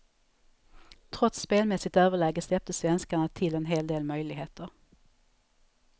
Trots spelmässigt överläge släppte svenskarna till en hel del möjligheter.